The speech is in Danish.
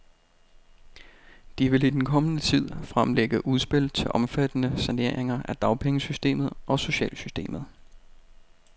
De vil i den kommende tid fremlægge udspil til omfattende saneringer af dagpengesystemet og socialsystemet.